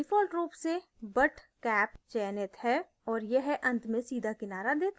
default रूप से butt cap चयनित है और यह अंत में सीधा किनारा देता है